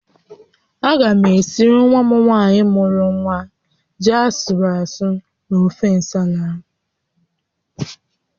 Aga m esiri nwa m nwaanyị mụrụ nwa ji asụrụ asụ na ofe ǹsàlà